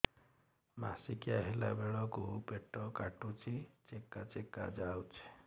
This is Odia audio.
ମାସିକିଆ ହେଲା ବେଳକୁ ପେଟ କାଟୁଚି ଚେକା ଚେକା ଯାଉଚି